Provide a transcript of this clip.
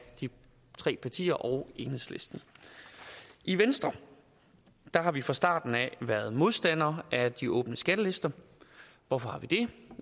de tre partier og enhedslisten i venstre har vi fra starten været modstandere af de åbne skattelister hvorfor